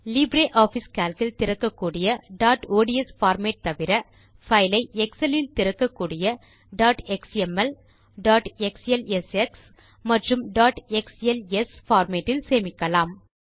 LibreOffice Calc இல் திறக்கக்கூடிய dot ODS format தவிர பைல் ஐ எக்ஸல் இல் திறக்ககூடிய டாட் எக்ஸ்எம்எல் டாட் எக்ஸ்எல்எஸ்எக்ஸ் மற்றும் டாட் எக்ஸ்எல்எஸ் formatல் சேமிக்கலாம்